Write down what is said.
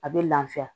A bɛ lafiya